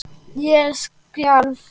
Ég skalf.